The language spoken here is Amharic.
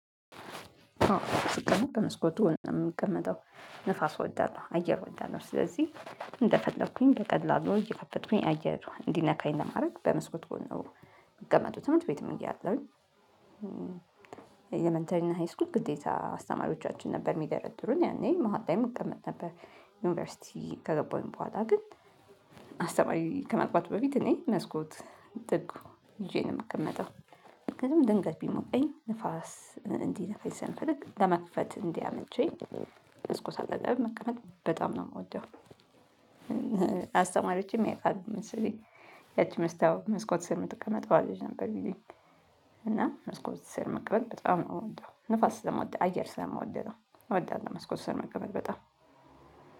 ስቀመጥ መስኮቱን ነው የሚቀመጠው ንፋስ ወዳለው አየር ወዳለው ስለዚህ እንደፈለኩኝ በቀላሉ እየከፈትኩኝ አየር እንዲነካኝ ለማድረግ በመስኮት ጎን ነው የሚቀመጡት። እምነት ቤት መንገድ ያለሁኝ እያለሁኝ የሚንተሪና ሃይስኩል ግዴታ አስተማሪዎቻችን ነበር የሚደረድሩን ያኔ መሃል ላይም መቀመጥ ነበር። ዩኒቨርሲቲ ከገባሁኝ በኋላ ግን አስተማሪ ከመግባቱ በፊት እኔ መስኮት ጥግ ይዤ ነው የምቀመጠው። ድንገት ቢሞቀኝ ንፋስ እንዲህ ንፋስ ስንፈልግ ለመክፈት እንዲመቼኝ ስኮሳለም መቀመጥ በጣም ነው። የምወደው ያውቃል ምስሌ ያቺ መስታወት መስኮት ስር ምትቀመጠው አለች ነበር ቢለኝ። እና መስኮት ስር መቀመጥ በጣም ነው የምወደው ንፋስ ስለምወደው አየር ስለምወደው እወዳለሁ። መስኮት ስር መቀበል በጣም